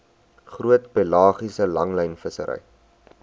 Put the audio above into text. groot pelagiese langlynvissery